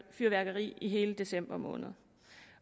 fyrværkeri i hele december måned